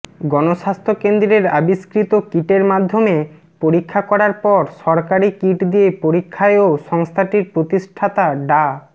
গণস্বাস্থ্য কেন্দ্রের আবিষ্কৃত কিটের মধ্যমে পরীক্ষা করার পর সরকারি কিট দিয়ে পরীক্ষায়ও সংস্থাটির প্রতিষ্ঠাতা ডা